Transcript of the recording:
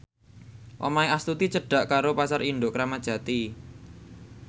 omahe Astuti cedhak karo Pasar Induk Kramat Jati